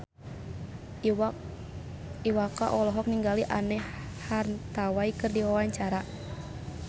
Iwa K olohok ningali Anne Hathaway keur diwawancara